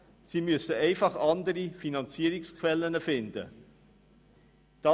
Dafür müssen einfach andere Finanzierungsquellen gefunden werden.